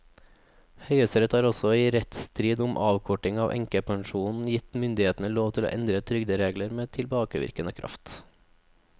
Høyesterett har også i en rettsstrid om avkorting av enkepensjoner gitt myndighetene lov til å endre trygderegler med tilbakevirkende kraft.